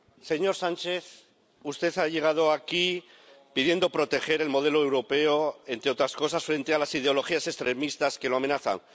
Señor Sánchez, usted ha llegado aquí pidiendo proteger el modelo europeo, entre otras cosas, frente a las ideologías extremistas que lo amenaza.